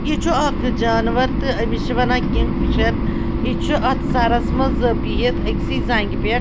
یہِ چُھ اکھ جانورتہٕ أمِس چھ وَنان کِنگ فِشر .یہِ چُھ اَتھ فرس منٛز بِہِتھ أکۍسےٕ زنٛگہِ پٮ۪ٹھ